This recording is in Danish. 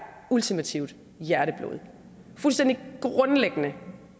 ultimativt hjerteblod fuldstændig grundlæggende